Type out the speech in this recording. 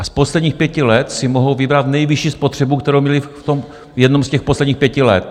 A z posledních pěti let si mohou vybrat nejvyšší spotřebu, kterou měly v jednom z těch posledních pěti let.